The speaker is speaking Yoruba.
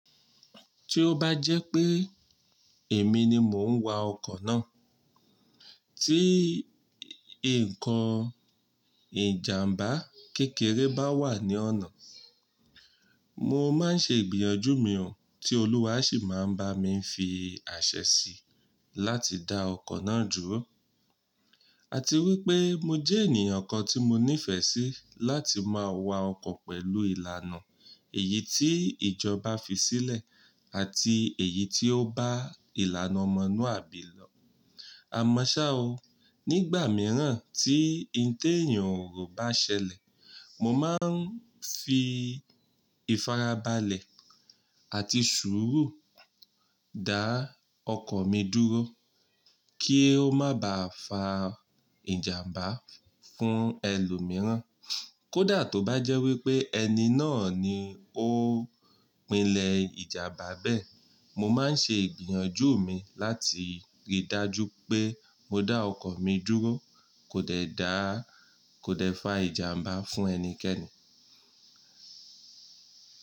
Tí ó bá jẹ́ pé èmi ni mò ń wa ọkọ̀ náà, tí nǹkan ìjàmbá kékeré bá wà ní ọ̀nà, mo máa ń ṣe ìgbìyànjú mi ò tí Olúwa sì máa ń bá mi fi àṣẹ sí láti dá ọkọ̀ náà dúró. Àti wípé mo jẹ́ ènìyàn kan tí mo nífẹ̀ẹ́ sí láti máa wa ọkọ̀ pẹ̀lú ìlànà èyí tí ìjọba fi sílẹ̀ àti èyí tí ó bá ìlànà ọmọluàbí lọ. Àmọ́ ṣá o, nígbà mìíràn tí n ti èeyàn ò ro bá ṣẹlẹ̀, mo máa ń fi ìfarabalẹ̀ àti sùúrù dá ọkọ̀ mi dúró kí ó má bá fa ìjàmbá fún ẹlòmíràn. Kódà tó bá jẹ́ wípé ẹni náà ni ó pilẹ̀ ìjàmbá bẹ́ẹ̀, mo máa ń ṣe ìgbìyànjú mi láti rí i dájú pé mo dá ọkọ̀ mi dúró kò dẹ̀ dá, kò dẹ̀ fa ìjàmbá fún ẹnikẹ́ni.